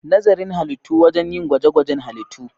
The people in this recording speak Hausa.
Nazarin Halittu: Wurin yin gwaje-gwajen halittu.